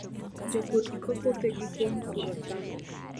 Jopur iko puothegi kuom puro cham.